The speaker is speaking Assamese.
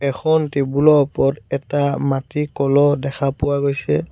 এখন টেবুল ৰ ওপৰত এটা মাটিৰ কলহ দেখা পোৱা গৈছে।